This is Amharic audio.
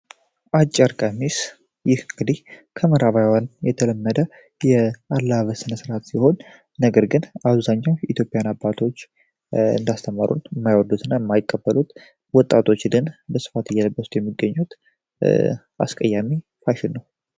አጭር ቀሚስ ይህ እንግዲህ ከምዕራባውያን የተለመደ የአለባበስ አይነት ሲሆን አብዛኛው የኢትዮጵያ አባቶች እንዳስተማሩን የማይቀበሉትና የማይፈልጉት ብዙ ወጣቶች እየለበሱት የሚገኙት አስቀያሚ ፋሽን ነው።